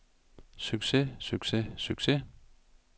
succes succes succes